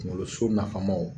Kunkoloso nafamaw